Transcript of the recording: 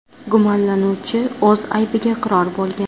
Gumonlanuvchi o‘z aybiga iqror bo‘lgan.